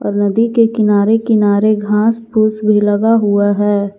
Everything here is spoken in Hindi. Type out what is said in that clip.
और नदी के किनारे किनारे घास फूस भी लगा हुआ है।